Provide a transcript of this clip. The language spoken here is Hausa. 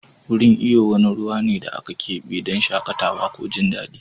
Wurin iyo wani ruwa ne da aka kebe don shakatawa ko jin daɗi.